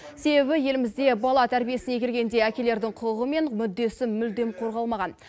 себебі елімізде бала тәрбиесіне келгенде әкелердің құқығы мен мүддесі мүлдем қорғалмаған